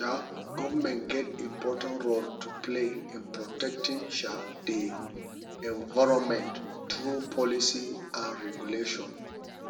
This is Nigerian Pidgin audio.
um government get important role to play in protecting um di environment through policy and regulation